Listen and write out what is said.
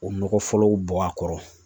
O nɔgɔ fɔlɔw bɔ a kɔrɔ